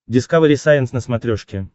дискавери сайенс на смотрешке